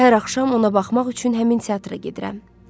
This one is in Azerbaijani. Hər axşam ona baxmaq üçün həmin teatra gedirəm.